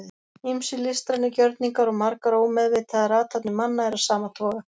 ýmsir listrænir gjörningar og margar ómeðvitaðar athafnir manna eru af sama toga